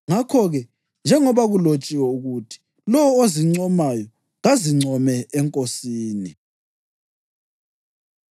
Ngakho-ke, njengoba kulotshiwe ukuthi: “Lowo ozincomayo kazincome eNkosini.” + 1.31 UJeremiya 9.24